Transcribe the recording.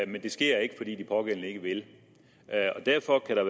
men det sker ikke fordi de pågældende ikke vil derfor kan der